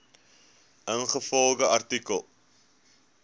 ingevolge artikel